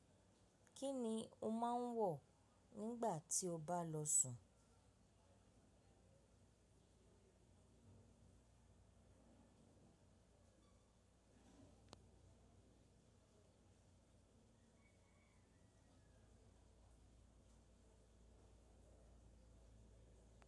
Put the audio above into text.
Kí ni o máa ń wọ̀ nígbà tí o bá lọ sùn?